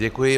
Děkuji.